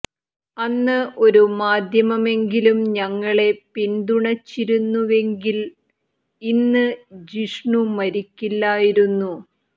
അന്ന് ഒരു മാദ്ധ്യമമെങ്കിലും ഞങ്ങളെ പിന്തുണച്ചിരുന്നുവെങ്കിൽ ഇന്ന് ജിഷ്ണു മരിക്കില്ലായിരുന്നു